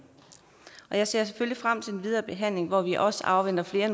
jeg ser selvfølgelig frem til den videre behandling hvor vi også afventer flere